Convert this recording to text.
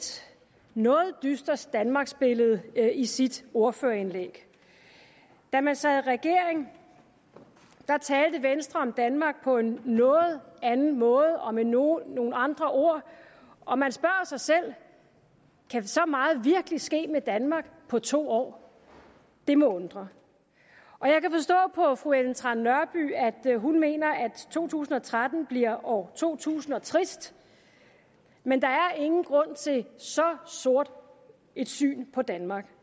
noget dystert danmarksbillede i sit ordførerindlæg da man sad i regering talte venstre om danmark på en noget anden måde og med nogle nogle andre ord og man spørger sig selv kan så meget virkelig ske med danmark på to år det må undre og jeg kan forstå på fru ellen trane nørby at hun mener at to tusind og tretten bliver år to tusind og trist men der er ingen grund til så sort et syn på danmark